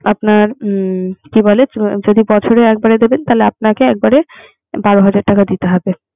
আপনার হম কি বলে? যদি বছরে একবারে দেবেন তাহলে একবারে বারো হাজার টাকা দিতে হবে।